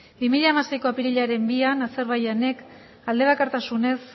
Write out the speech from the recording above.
bi mila hamaseiko apirilaren bian azerbaijanek alde bakartasunez